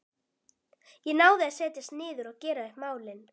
Ég náði að setjast niður og gera upp málin.